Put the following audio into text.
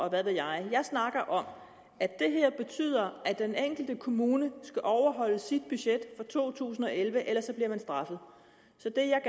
og hvad ved jeg jeg snakker om at det her betyder at den enkelte kommune skal overholde sit budget for to tusind og elleve ellers bliver man straffet så det jeg